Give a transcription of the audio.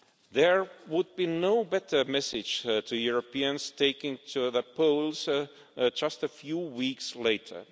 There would be no better message to Europeans going to the polls just a few weeks later.